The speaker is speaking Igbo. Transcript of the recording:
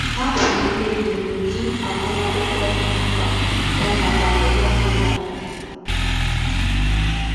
Ha pụrụ ikpebi ụdị agụmakwụkwọ dị ha mkpa, ya nakwa ụgwọ ha akwu.